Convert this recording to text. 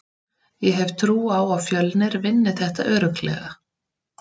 Ég hef trú á að Fjölnir vinni þetta örugglega.